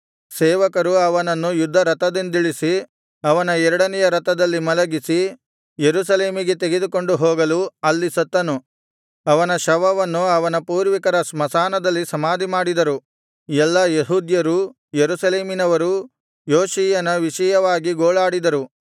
ಸೇವಕರು ಅವನನ್ನು ಯುದ್ಧರಥದಿಂದಿಳಿಸಿ ಅವನ ಎರಡನೆಯ ರಥದಲ್ಲಿ ಮಲಗಿಸಿ ಯೆರೂಸಲೇಮಿಗೆ ತೆಗೆದುಕೊಂಡು ಹೋಗಲು ಅಲ್ಲಿ ಸತ್ತನು ಅವನ ಶವವನ್ನು ಅವನ ಪೂರ್ವಿಕರ ಸ್ಮಶಾನದಲ್ಲಿ ಸಮಾಧಿಮಾಡಿದರು ಎಲ್ಲಾ ಯೆಹೂದ್ಯರೂ ಯೆರೂಸಲೇಮಿನವರೂ ಯೋಷೀಯನ ವಿಷಯವಾಗಿ ಗೋಳಾಡಿದರು